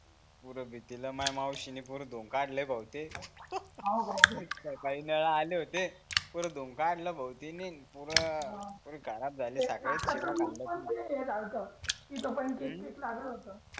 माया माउशींनी पूर धून काढल भाऊ ते काही नळ आले होते पूर् धून काढल भाऊ तिनी पूर पूर खराब झाले लागल होत